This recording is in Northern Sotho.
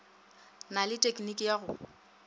na le tekniki ya go